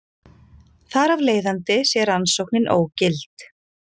Þar af leiðandi sé rannsóknin ógild